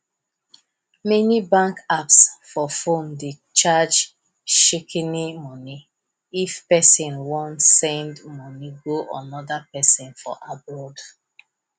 many bank apps for phone dey charge shikini money if person wan send money to another person for abroad